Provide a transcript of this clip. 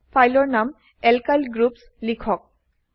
ফাইলৰ নাম alkyl groups লিখক